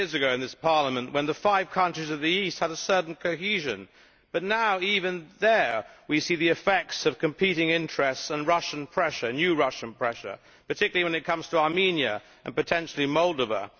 in this Parliament when the five countries of the East had a certain cohesion, but now even there we see the effects of competing interests and new Russian pressure, particularly when it comes to Armenia and, potentially, Moldova.